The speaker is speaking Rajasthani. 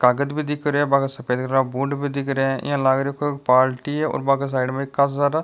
कागज भी दिख रहा है बांके सफ़ेद रा बूट भी दिख रहा है इया लाग रे कोई पार्टी है और बाके साइड में काशा सारा --